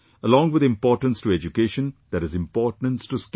Along with importance to education, there is importance to skill